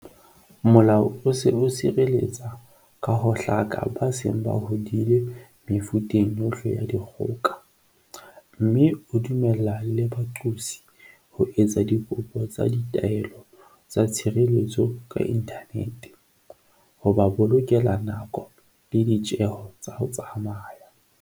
Molao o se o sireletsa ka ho hlaka ba seng ba hodile mefuteng yohle ya dikgoka, mme o dumella le baqosi ho etsa dikopo tsa ditaelo tsa tshireletso ka inthanete, ho ba bolokela nako le ditjeho tsa ho tsamaya.